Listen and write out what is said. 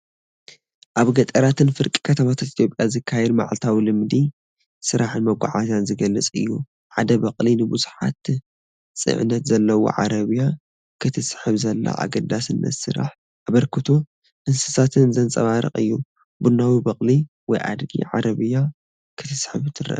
ኣብ ገጠራትን ፍርቂ ከተማታትን ኢትዮጵያ ዝካየድ መዓልታዊ ልምዲ ስራሕን መጓዓዝያን ዝገልጽ እዩ። ሓደ በቕሊ ንብዙሕ ጽዕነት ዘለዎ ዓረብያ ክትስሕብ ዘላ፣ ኣገዳስነት ስራሕን ኣበርክቶ እንስሳታትን ዘንጸባርቕ እዩ። ቡናዊ በቕሊ (ወይ ኣድጊ) ዓረብያ ክትስሕብ ትረአ።